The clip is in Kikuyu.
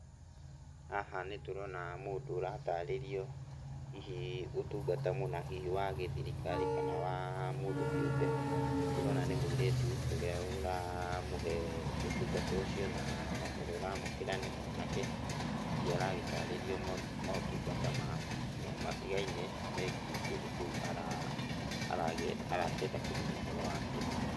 Haha nĩtũrona mũndũ ũratarĩrio hihi ũtungata mũna, hihi wa gĩthirikari, kana wa mũndũ kĩũmbe. Tũrona nĩ mũirĩtu ũrĩa ũramũhe ũtungata ucio na ũrĩa ũramũkĩra nĩ mwanake. Hihi aragĩtarĩrio maũtungata matigaine megiĩ kĩndũ kĩu arakĩenda kũmenya ũhoro wakĩo.